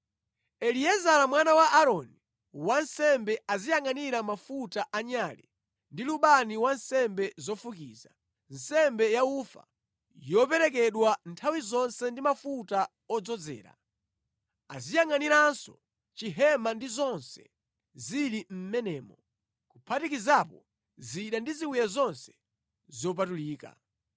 “Eliezara mwana wa Aaroni, wansembe, aziyangʼanira mafuta a nyale, ndi lubani wa nsembe zofukiza, nsembe yaufa yoperekedwa nthawi zonse ndi mafuta odzozera. Aziyangʼaniranso chihema ndi zonse zili mʼmenemo, kuphatikizapo zida ndi ziwiya zonse zopatulika.”